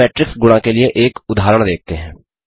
अब मेट्रिक्स गुणा के लिए एक उदाहरण देखते हैं